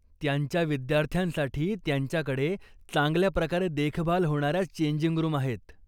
त्यांच्या विद्यार्थ्यांसाठी त्यांच्याकडे चांगल्याप्रकारे देखभाल होणाऱ्या चेंजिंग रूम आहेत.